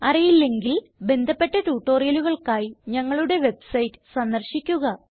അറിയില്ലെങ്കിൽ ബന്ധപ്പെട്ട ട്യൂട്ടോറിയലുകൾക്കായി ഞങ്ങളുടെ വെബ്സൈറ്റ് സന്ദർശിക്കുക